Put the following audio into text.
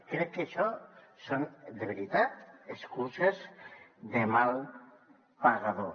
crec que això són de veritat excuses de mal pagador